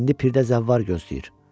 İndi pirdə zəvvar gözləyir.